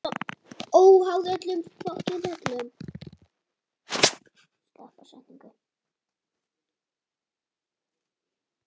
Óháð öllum lögum og reglum.